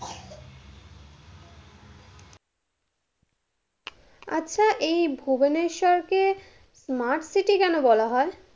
আচ্ছা, এই ভুবনেশ্বরকে smart city বলা হয়?